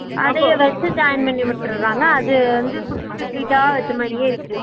அதயே வெச்சு join பண்ணி விட்டிடுராங்க்லா அது வந்து குட்டி குட்டி fleats ஆ வேச்ச்சமாரியே இருக்கு